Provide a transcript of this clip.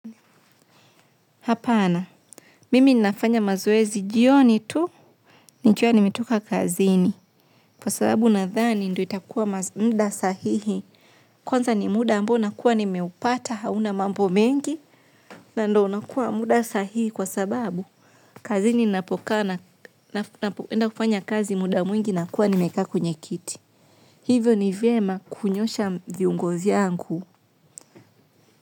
Hapana, mimi ninafanya mazoezi jioni tu, nikiwa nimetoka kazini. Kwa sababu nadhani, ndo itakuwa muda sahihi. Kwanza ni muda ambao nakuwa nimeupata, hauna mambo mengi, na ndo unakuwa muda sahihi kwa sababu, kazini napokaa ninapoenda kufanya kazi muda mwingi nakuwa nimekaa kwenye kiti. Hivyo ni vyema kunyoosha viungi vyangu.